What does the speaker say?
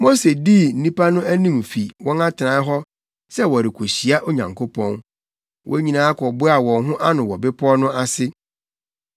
Mose dii nnipa no anim fi wɔn atenae hɔ sɛ wɔrekohyia Onyankopɔn. Wɔn nyinaa kɔboaa wɔn ho ano wɔ bepɔw no ase.